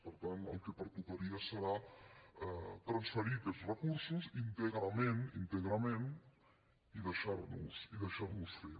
per tant el que pertocaria seria transferir aquests recursos íntegrament íntegrament i deixar nos fer